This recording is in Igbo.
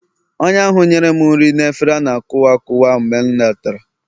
onye ahụ nyere m nri na efere a na-akuwa akuwa mgbe m letara